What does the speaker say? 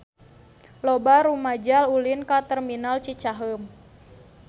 Loba rumaja ulin ka Terminal Cicaheum